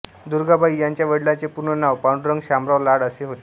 दुर्गाबाई यांच्या वडिलांचे पूर्ण नाव पांडुरंग शामराव लाड असे होते